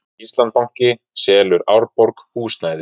Íslandsbanki selur Árborg húsnæði